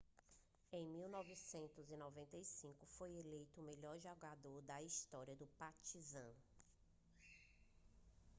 em 1995 foi eleito o melhor jogador da história do partizan